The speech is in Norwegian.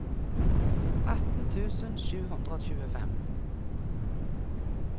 atten tusen sju hundre og tjuefem